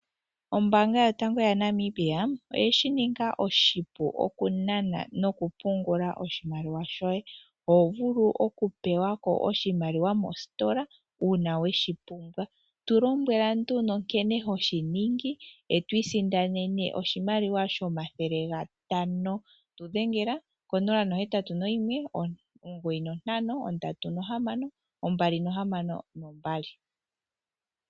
Ombaanga yotango yaNamibia oye shi ninga oshipu okunana nokupungula oshimaliwa shoye. Oho vulu okupewa ko oshimaliwa mositola uuna we shi pumbwa. Tu lombwela nduno nkene ho shi ningi e to isindanene oshimaliwa shomathele gatano. Tu dhengela ko081 9536262.